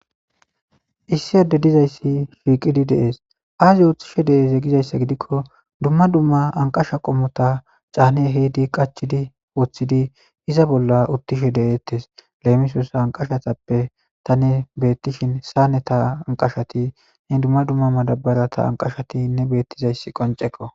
issi adde dizayssi shiiqidi dees aazi uttishe de7eze gizayssa gidikko dumma dumma anqasha qommota caane heydi qachidi wooththidi iza bolla uttishe de7eettes leemisoosa anqashatappe tane beettishin saane ta anqashati he dumma dumma madabara ta anqashatinne beettizayssi qonceko